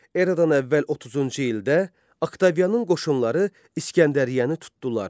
Eradan əvvəl 30-cu ildə Oktavianın qoşunları İskəndəriyyəni tutdular.